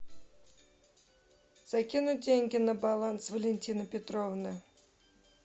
закинуть деньги на баланс валентины петровны